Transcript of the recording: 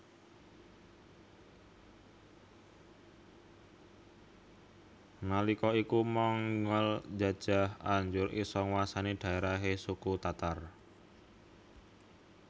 Nalika iku Mongol njajah anjur isa nguwasai dhaerahe suku Tatar